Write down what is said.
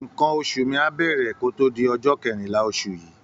Nǹkan oṣù mi á bẹ̀rẹ̀ kó tó di ọjọ́ kẹrìnlá oṣù yìí